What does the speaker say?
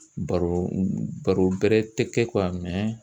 Baro baro bɛrɛ tɛ kɛ